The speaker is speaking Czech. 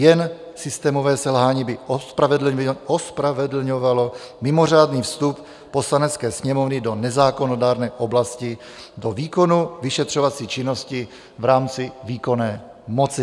Jen systémové selhání by ospravedlňovalo mimořádný vstup Poslanecké sněmovny do nezákonodárné oblasti do výkonu vyšetřovací činnosti v rámci výkonné moci.